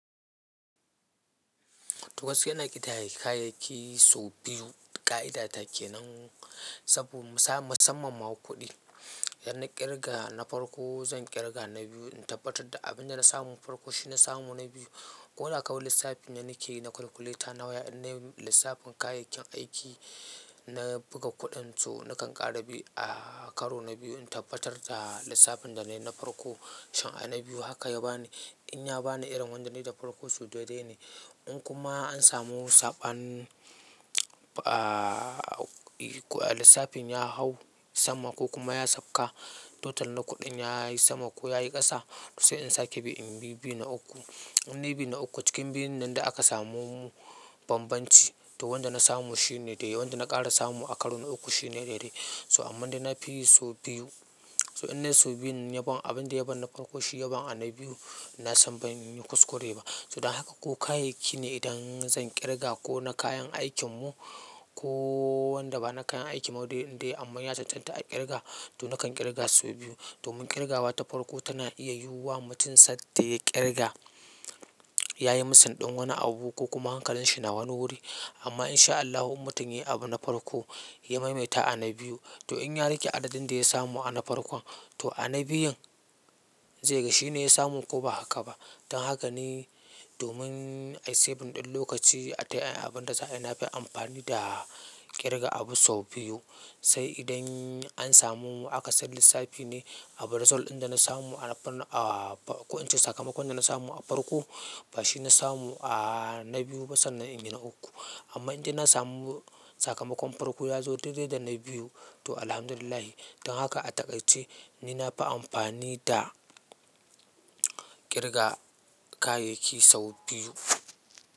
To gaskiya na ƙitaye kayayyaki sau biyu. Ka'idata kenan saboda musamman ma kuɗi idan na ƙirga na farko zan ƙirga na biyu in tabbatar da abin da na samu na farko shi na samu na biyu. Ko na kawo lissafin da nike na calculator na lissafin kayayyakin aiki, na buga kuɗin to na kan ƙara biyu a karo na biyu in tabbatar da lissafin da na yi na farko shin a na biyu haka ya bani. In ya bani irin wanda na yi da farko, so dai dai ne. In kuma an samu saɓanin, lissafin ya hau sama ko kuma ya sauka total na kuɗin ya yi sama ko ya yi ƙasa to sai in sake bi. In biyu na uku, in biyu na uku cikin biyun nan da aka samu bambanci to wanda na samu shine dai dai. Wanda na ƙara samu a karo na uku shine dai dai. So amma dai nafi yi so biyu. So in na so biyun yabsn abinda yaban na farko shi yaban a na biyu na san ban yi kuskure ba. To dan haka ko kayayyaki ne idan zan ƙirga ko na kayan aikin mu ko wanda ba na kayan aiki ma dai dai amma ya cancanta a ƙirga to nakan ƙirga sau biyu. Domin ƙirgawa ta farko tana iya yiwa mutum sat da ya ƙirga yayi missing ɗin wani abu ko kuma hankalin shi na wani wuri. Amma in sha Allahu in mutum yayi abu na farko ya maimaita a na biyu to in ya riƙe adadin da ya samu a na farkon to a na biyun zai ga shi ne ya samu ko ba haka ba. Dan haka ne domin ayi save ɗin lokaci atai abin da na fi amfani da ƙirga abu sau biyu. Sai idan an samu aka san lissafi ne abu result ɗin da na samu a farko, in ce sakamakon da na samu a farko ba shi na samu a na biyu ba sannan in yi na uku. Amma inda na samu sakamakon farko ya zo dai dai da na biyu to Alhamdulillah. Dan haka a takai ce ni na fi amfani da ƙirga kayayyaki sau biyu.